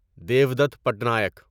Devdutt Patnaik